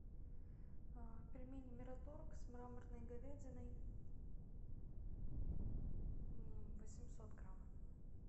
пельмени мираторг с мраморной говядиной восемьсот грамм